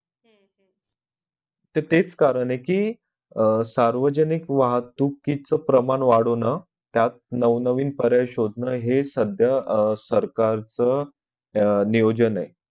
ते तेच कारण कि अह सार्वजनिक वाहतूकिच प्रमाण वाढावंण त्यात नवनवीन पर्याय शोधन हे सद्ध्या अह सरकारच नियोजन आहे.